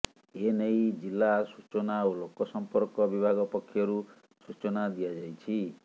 ଏନେଇ ଜିଲା ସୂଚନା ଓ ଲୋକସମ୍ପର୍କ ବିଭାଗ ପକ୍ଷରୁ ସୂଚନା ଦିଆଯାଇଛି